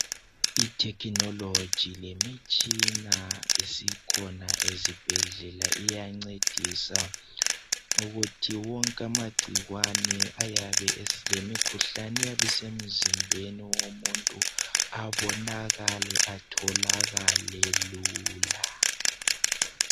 Ithekhinoloji lemitshina esikhona ezibhedlela iyancedisa ukuthi wonke amagcikwane lemikhuhlane eyabe isemzimbeni womuntu abonakale atholakale lula.